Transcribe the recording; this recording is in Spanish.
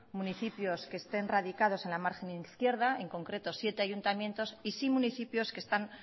municipios que estén radicados en la margen izquierda en concreto siete ayuntamientos y sí municipios que están